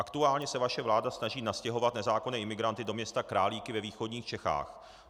Aktuálně se vaše vláda snaží nastěhovat nezákonné imigranty do města Králíky ve východních Čechách.